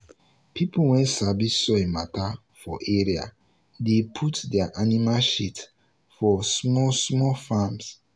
people wey sabi soil matter for area dey put their animal shit for small small farms.